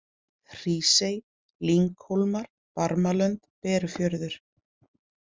Hrísey, Lynghólmar, Barmalönd, Berufjörður